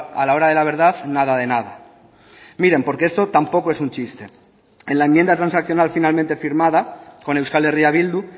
a la hora de la verdad nada de nada miren porque esto tampoco es un chiste en la enmienda transaccional finalmente firmada con euskal herria bildu